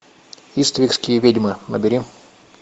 иствикские ведьмы набери